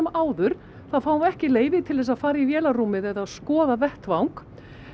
áður þá fáum við ekki leyfi til þess að fara í vélarrúmið eða skoða vettvang